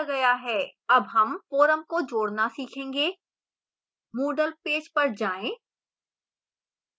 add हम forum को जोड़ना सीखेंगे moodle पेज पर जाएँ